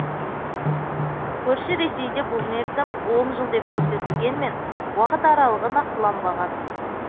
көрші ресейде бұл мерзім он жыл деп көрсетілгенмен уақыт аралығы нақтыланбаған